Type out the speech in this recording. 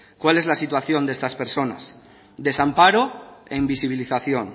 cuál es la situación de estas personas desamparo e invisibilización